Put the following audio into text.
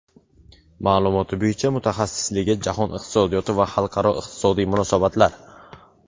Ma’lumoti bo‘yicha mutaxassisligi Jahon iqtisodiyoti va xalqaro iqtisodiy munosabatlar.